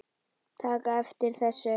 taka eftir þessu